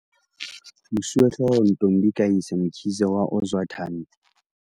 Mosuwehlooho Ntombi kayise Mkhize wa Ozwathi ni Primary School